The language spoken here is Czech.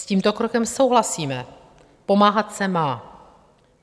S tímto krokem souhlasíme, pomáhat se má.